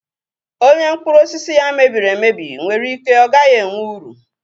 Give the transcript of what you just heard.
Onye mkpụrụ osisi ya mebiri emebi nwere ike ọ gaghị enwe uru.